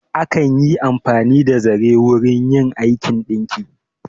Akan yi amfani da zare wurin yin aikin ɗinki.